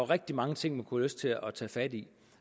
rigtig mange ting man kunne lyst til at tage fat i